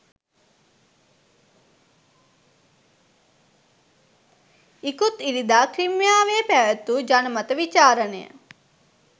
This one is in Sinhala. ඉකුත් ඉරිදා ක්‍රිමියාවේ පැවැත්වූ ජනමත විචාරණය